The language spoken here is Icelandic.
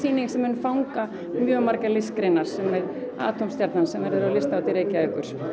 sýning sem mun fanga mjög margar listgreinar sem er Atómstjarnan sem verður á Listahátíð Reykjavíkur